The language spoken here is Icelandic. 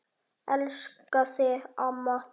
Elska þig, amma.